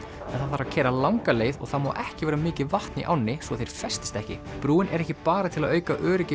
að keyra langa leið og það má ekki vera mikið vatn í ánni svo þeir festist ekki brúin er ekki bara til að auka öryggi